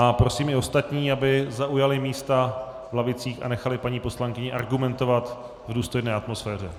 a prosím i ostatní, aby zaujali místa v lavicích a nechali paní poslankyni argumentovat v důstojné atmosféře.